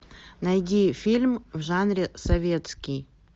найди фильм в жанре советский